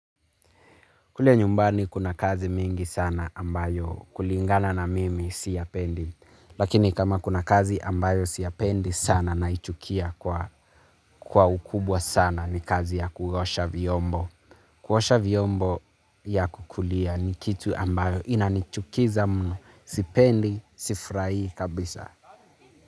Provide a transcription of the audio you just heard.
Kule nyumbani kuna kazi mingi sana ambayo kulingana na mimi siyapendi. Lakini kama kuna kazi ambayo siyapendi sana naichukia kwa ukubwa sana ni kazi ya kuosha vyombo. Kuosha vyombo ya kukulia ni kitu ambayo inanichukiza mno sipendi, sifurahii kabisa.